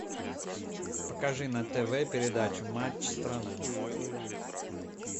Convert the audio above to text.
покажи на тв передачу матч страна